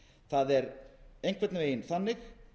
það er einhvern veginn þannig